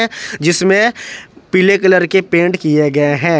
जिसमें पीले कलर के पेंट किये गए हैं।